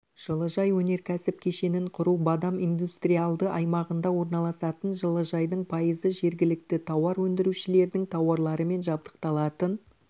жылыжай өнеркәсіп кешенін құру бадам индустриалды аймағында орналасатын жылыжайдың пайызы жергілікті тауар өндірушілердің тауарларымен жабдықталатын